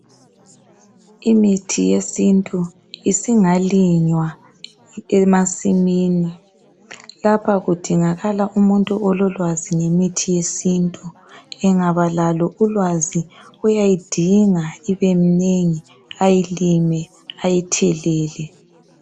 Imithi yesintu isingalinywa emasimini kapha kudingakala umuntu ololwazi ngemithi yesintu engabalalo ulwazi uyayidinga ibemnengi ayilime ayithelele